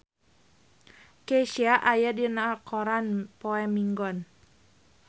Kesha aya dina koran poe Minggon